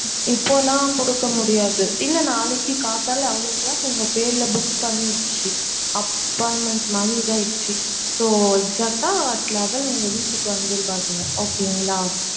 இப்போலாம் குடுக்க முடியாது இல்ல நாளைக்கு காத்தலா level clock உங்க பேருல book பண்ணிருச்சு appoinment வாங்கி இதா ஆகிருசு so exact யா level உங்க வீட்டுக்கு வந்துருவாங்க okay ங்லா.